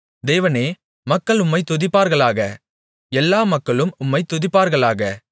தேவனே மக்கள் உம்மைத் துதிப்பார்களாக எல்லா மக்களும் உம்மைத் துதிப்பார்களாக